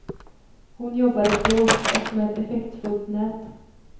Hon jobbar i plåt och med effektfullt nät.